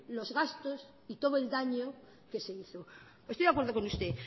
los gastos y todo el daño que se hizo estoy de acuerdo con usted